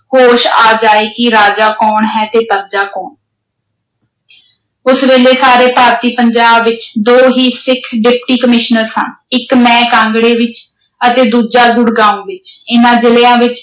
ਹੋਸ਼ ਆ ਜਾਏ ਕਿ ਰਾਜਾ ਕੌਣ ਹੈ ਤੇ ਪਰਜਾ ਕੌਣ ਉਸ ਵੇਲੇ ਸਾਰੇ ਭਾਰਤੀ ਪੰਜਾਬ ਵਿੱਚ ਦੋ ਹੀ ਸਿੱਖ Deputy Commissioner ਸਨ। ਇੱਕ ਮੈਂ ਕਾਂਗੜੇ ਵਿੱਚ ਅਤੇ ਦੂਜਾ ਗੁੜਗਾਉਂ ਵਿੱਚ, ਇਨ੍ਹਾਂ ਜ਼ਿਲਿਆਂ ਵਿੱਚ